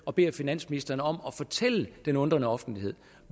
og beder finansministeren om at fortælle den undrende offentlighed